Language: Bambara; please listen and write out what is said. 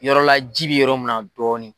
Yɔrɔla jibi yɔrɔ min na dɔɔni.